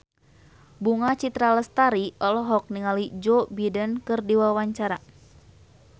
Bunga Citra Lestari olohok ningali Joe Biden keur diwawancara